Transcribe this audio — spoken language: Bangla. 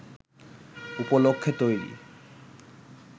উপলক্ষ্যে তৈরি